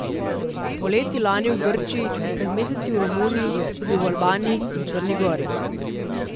Poleti lani v Grčiji, pred meseci v Romuniji, tudi v Albaniji in Črni Gori.